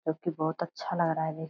जो की बहुत अच्छा लग रहा है दे --